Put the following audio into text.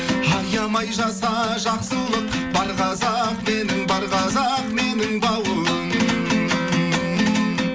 аямай жаса жақсылық бар қазақ менің бар қазақ менің бауырым